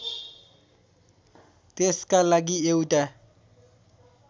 त्यसका लागि एउटा